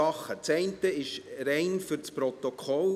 Das eine ist rein fürs Protokoll: